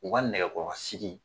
U ka nɛgɛ kɔrɔ sigi.